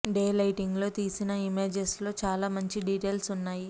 day lighting లో తీసిన images లో చాలా మంచి డిటేల్స్ ఉన్నాయి